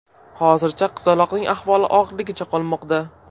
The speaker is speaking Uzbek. Hozircha qizaloqning ahvoli og‘irligicha qolmoqda.